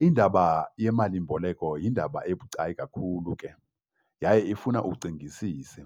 Indaba yemalimboleko yindaba ebucayi kakhulu ke, yaye ifuna ucingisise.